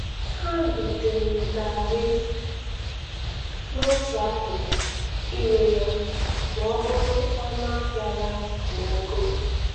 Ha dotere gari n'otu akụkụ ire ya ma ọ bụrụ ọnụ ahịa ya gbagoo.